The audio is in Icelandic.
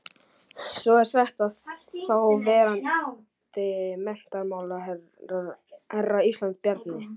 Svo er sagt að þáverandi menntamálaráðherra Íslands, Bjarni